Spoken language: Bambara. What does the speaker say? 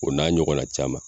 O n'a ɲɔgɔn na caman.